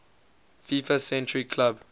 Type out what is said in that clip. fifa century club